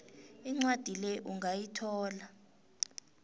incwadi le ungayithola